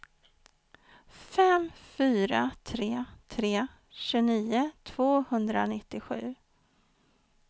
fem fyra tre tre tjugonio tvåhundranittiosju